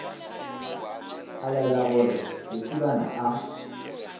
a laela gore lesibana a